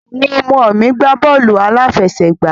Àwọn ọmọ mi gbà bọ́ọ́lù aláfẹsẹ̀gbá